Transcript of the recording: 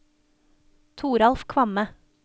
Toralf Kvamme